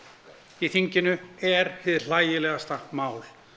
í þinginu er hið hlægilegasta mál